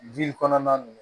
kɔnɔna na